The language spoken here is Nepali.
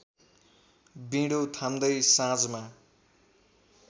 बिँडो थाम्दै साँझमा